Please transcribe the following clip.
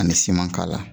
Ani siman k'a la